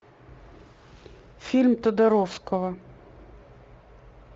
фильм тодоровского